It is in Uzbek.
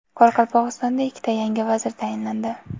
Qoraqalpog‘istonda ikkita yangi vazir tayinlandi.